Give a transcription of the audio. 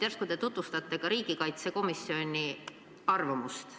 Järsku te tutvustate ka riigikaitsekomisjoni arvamust?